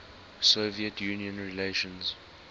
soviet union relations